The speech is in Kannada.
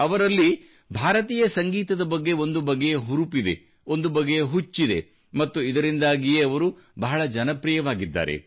ಅವರಲ್ಲಿ ಭಾರತೀಯ ಸಂಗೀತದ ಬಗ್ಗೆ ಒಂದು ಬಗೆಯ ಹುರುಪಿದೆ ಒಂದು ಬಗೆಯ ಹುಚ್ಚಿದೆ ಮತ್ತು ಇದರಿಂದಾಗಿಯೇ ಅವರು ಬಹಳ ಜನಪ್ರಿಯವಾಗಿದ್ದಾರೆ